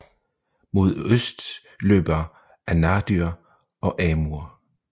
Mod øst løber Anadyr og Amur